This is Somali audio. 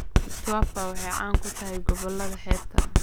Mtwapa waxay caan ku tahay gobollada xeebta.